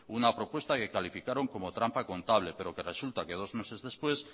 una propuesta que calificaron como trampa contable pero que resulta que dos meses después